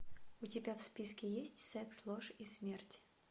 у тебя в списке есть секс ложь и смерть